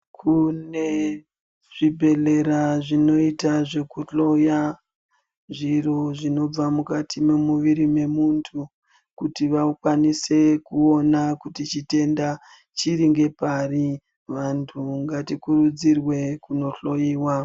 Kune zvibhedhlera zvinota zvekuhloya zviro zvinobva mukati mwemuviri memuntu. Kuti vakwanise kuona kuti chitenda chiri ngepari, vantu ngatikurudzirwe kunohloiwa.